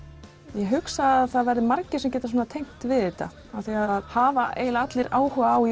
ég hugsa að margir geti tengt við þetta það hafa allir áhuga á